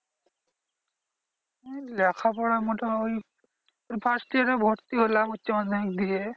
ওই লেখাপড়া মোটে ওই ওই first year এ ভর্তি হলাম উচ্চমাধ্যমিক দিয়ে।